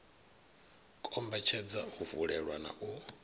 kombetshedza u vulelwa na u